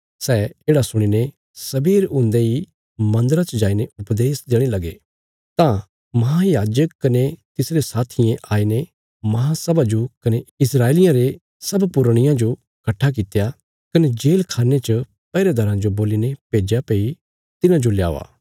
सै येढ़ा सुणीने सवेर हुन्दे इ मन्दरा च जाईने उपदेश देणे लगे तां महायाजक कने तिसरे साथियें आईने महासभा जो कने इस्राएलियां रे सब पुरनियां जो कट्ठा कित्या कने जेलखान्ने च पैहरेदाराँ जो बोलीने भेज्या भई तिन्हांजो लयावा